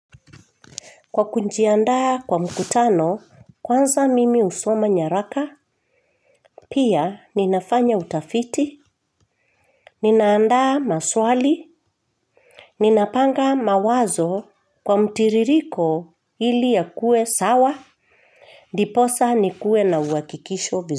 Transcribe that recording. Kwa kujiandaa kwa mkutano, kwanza mimi husoma nyaraka, pia ninafanya utafiti, ninaandaa maswali, ninapanga mawazo kwa mtiririko ili yakue sawa, ndiposa nikue na uhakikisho vizuri.